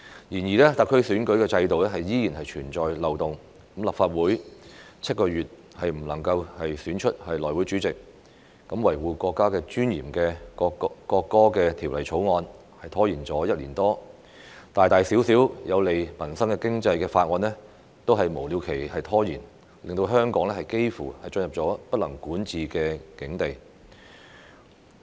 然而，特區選舉制度依然存在漏洞，立法會7個月也未能選出內務委員會主席，維護國家尊嚴的《國歌條例草案》拖延了1年多，大大小小有利民生經濟的法案均被無了期拖延，令香港幾乎進入不能管治的境地。